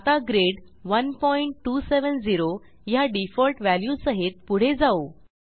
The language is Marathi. आता ग्रिड 1270 ह्या डिफॉल्ट व्हॅल्यूसहित पुढे जाऊ